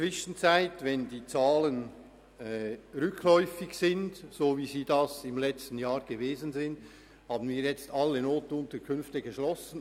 Seit die Zahlen wie im letzten Jahr wieder rückläufig sind, haben wir inzwischen alle NUK geschlossen.